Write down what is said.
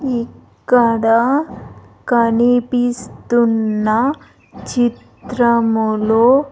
ఇక్కడ కనిపిస్తున్న చిత్రములో.